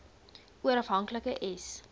oor afhanklike s